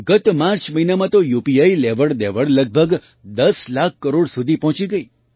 ગત માર્ચ મહિનામાં તો યુપીઆઈ લેવડદેવડ લગભગ ૧૦ લાખ કરોડ સુધી પહોંચી ગઈ